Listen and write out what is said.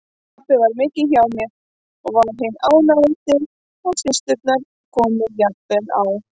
Pabbi var mikið hjá mér og var hinn ánægðasti og systurnar komu jafnvel á